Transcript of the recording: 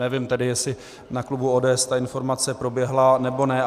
Nevím tedy, jestli na klubu ODS ta informace proběhla, nebo ne.